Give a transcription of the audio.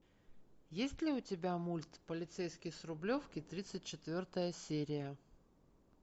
есть ли у тебя мульт полицейский с рублевки тридцать четвертая серия